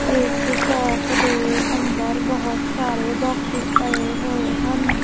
ਏਸ ਸ਼ੌਪ ਦੇ ਅੰਦਰ ਬੋਹੁਤ ਸਾਰੇ ਬੌਕਸੇਸ ਪਏ ਹੋਏ ਹਨ।